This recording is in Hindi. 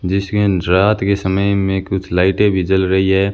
जिसकीं रात के समय में कुछ लाइटें भी जल रही है।